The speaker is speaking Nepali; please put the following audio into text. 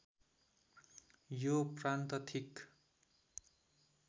यो प्रान्त ठिक